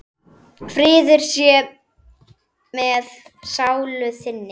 Friður sé með sálu þinni.